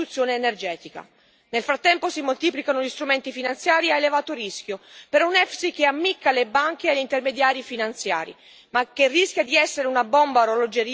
Nel frattempo si moltiplicano gli strumenti finanziari a elevato rischio per un'EFSI che ammicca alle banche e agli intermediari finanziari, ma che rischia di essere una bomba a orologeria per le economie reali.